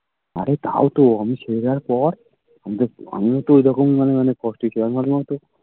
আরে তাই তো আমি ছেড়ে দেওয়ার পর আমি তো আমিও তো ওরকম মানে অনেক কষ্টেই ছিলাম আমি ভাবলাম হয়তো